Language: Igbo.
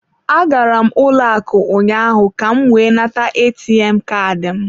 Agara m ụlọ akụ ụnyaahụ ka m wee nata ATM Kaadị m.